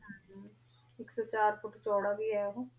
ਵੀ ਆਯ ਊ ਹੋ